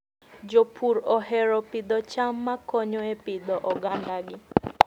Jopur ohero pidho cham makonyo e pidho ogandagi.